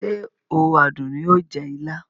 Ṣé o Àdùnní o jẹ ilá?